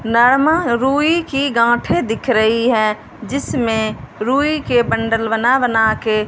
normal रूई की गांठे दिख रही है जिसमें रुई के बंडल बना बना के--